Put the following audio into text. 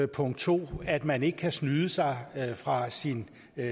punkt to at man ikke kan snyde sig fra sin